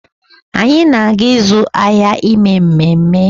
Anyị na-aga ịzụ ahịa ime ememe